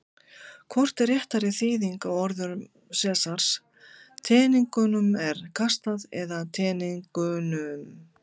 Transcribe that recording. Hvort er réttari þýðing á orðum Sesars: Teningnum er kastað eða Teningunum?